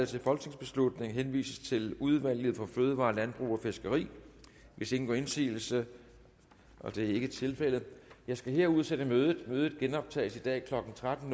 til folketingsbeslutning henvises til udvalget for fødevarer landbrug og fiskeri hvis ingen gør indsigelse og det er ikke tilfældet jeg skal her udsætte mødet mødet genoptages i dag klokken tretten